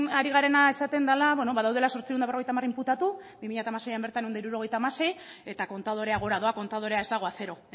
ari garena esaten dala bueno badaudela zortziehun eta berrogeita hamar inputatu bi mila hamaseian bertan bederatziehun eta hogeita hamasei eta kontadorea gora doa kontadorea ez dago a cero